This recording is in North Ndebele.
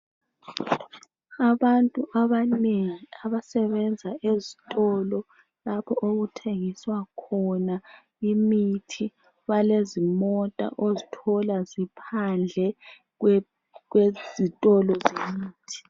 Abantu abanengi abasebenza esitolo lapho okuthengiswa khona imithi balezimota ozithola ziphandle kwezitolo.